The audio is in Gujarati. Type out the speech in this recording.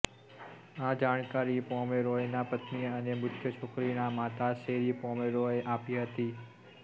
આ જાણકારી પોમેરોયના પત્ની અને મૃત છોકરીનાં માતા શેરી પોમેરોયે આપી હતી